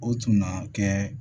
O tun na kɛ